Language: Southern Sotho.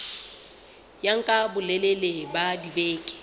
ya nka bolelele ba dibeke